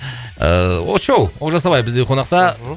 ыыы очоу олжас абай бізде қонақта мхм